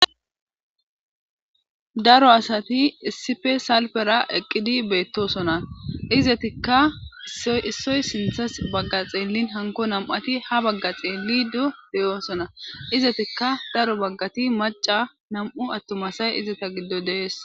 Daro asati issipe salpera eqqidi beettosona izetikka issoy sinthas bagga xeellin hanko nam7ati ha bagga xeelido beyoosona izetikka daro baggati maca nam7u attumasay izata giddo dees.